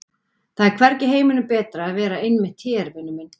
Það er hvergi í heiminum betra að vera en einmitt hér, vinur minn!